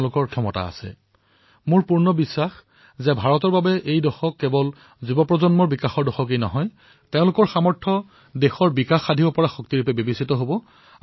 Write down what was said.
মোৰ সম্পূৰ্ণ বিশ্বাস যে ভাৰতত এই দশকত কেৱল যুৱচামৰেই বিকাশ হোৱাই নহয় বৰঞ্চ যুৱচামৰ সামৰ্থৰ জৰিয়তে দেশক বিকশিত কৰা সত্যও প্ৰতিষ্ঠাপিত হব